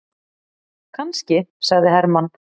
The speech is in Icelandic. Kannski, sagði Hermann.